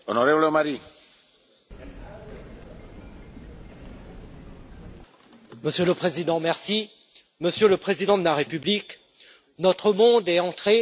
Monsieur le Président, Monsieur le Président de la République, notre monde est entré dans un processus d'ensauvagement et de décivilisation.